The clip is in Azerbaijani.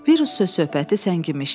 Virus söz-söhbəti səngimişdi.